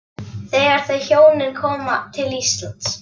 Þegar þau hjónin koma til Íslands